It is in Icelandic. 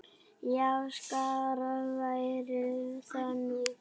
Já, skárra væri það nú.